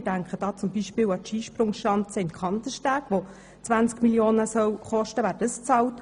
Dabei denke ich an die Skisprungschanze in Kandersteg, die 20 Mio. Franken kosten soll.